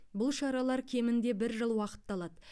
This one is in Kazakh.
бұл шаралар кемінде бір жыл уақытты алады